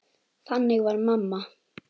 Þannig var mamma.